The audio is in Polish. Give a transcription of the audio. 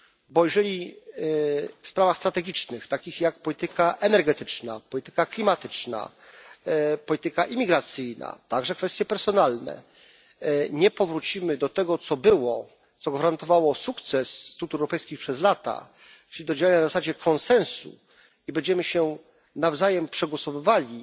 Bo jeżeli w sprawach strategicznych takich jak polityka energetyczna, polityka klimatyczna, polityka imigracyjna, także kwestie personalne nie powrócimy do tego, co było, co gwarantowało sukces struktur europejskich przez lata, do działań na zasadzie konsensusu, i będziemy się nawzajem przegłosowywali